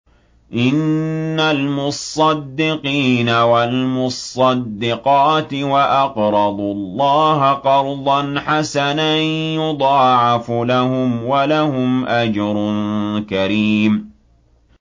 إِنَّ الْمُصَّدِّقِينَ وَالْمُصَّدِّقَاتِ وَأَقْرَضُوا اللَّهَ قَرْضًا حَسَنًا يُضَاعَفُ لَهُمْ وَلَهُمْ أَجْرٌ كَرِيمٌ